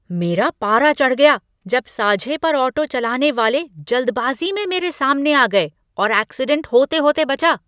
मेरा पारा चढ़ गया जब साझे पर ऑटो चलाने वाले जल्दबाजी में मेरे सामने आ गए और ऐक्सीडेंट होते होते बचा।